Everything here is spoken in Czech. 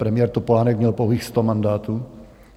Premiér Topolánek měl pouhých 100 mandátů.